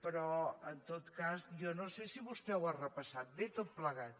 però en tot cas jo no sé si vostè ho ha repassat bé tot plegat